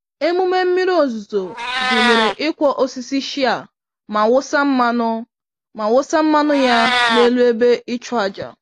Emume mmiri ozuzo gụnyere ịkwọ osisi shea ma wụsa mmanụ ma wụsa mmanụ ya n'elu ebe ịchụàjà.